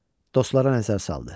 Dostlara nəzər saldı.